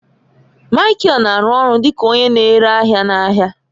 Michael na-arụ ọrụ dị ka onye na-ere ahịa n'ahịa.